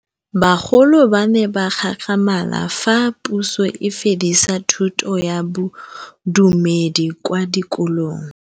Bagolo ba ne ba gakgamala fa Pusô e fedisa thutô ya Bodumedi kwa dikolong.